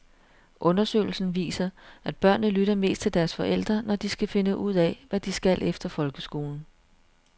Undersøgelsen viser, at børnene lytter mest til deres forældre, når de skal finde ud af, hvad de skal efter folkeskolen.